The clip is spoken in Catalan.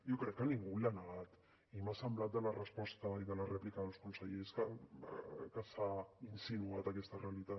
jo crec que ningú l’ha negat i m’ha semblat de la resposta i de la rèplica dels consellers que s’ha insinuat aquesta realitat